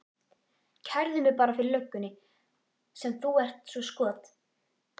Kærðu mig bara fyrir löggunni sem þú ert svo skot